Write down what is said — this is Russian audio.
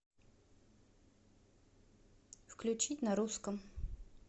включить на русском